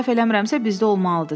Səhv eləmirəmsə, bizdə olmalıdır,